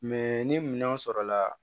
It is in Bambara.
Mɛ ni minɛnw sɔrɔla